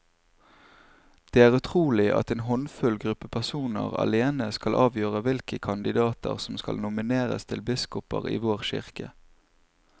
Det er utrolig at en håndfull gruppe personer alene skal avgjøre hvilke kandidater som skal nomineres til biskoper i vår kirke.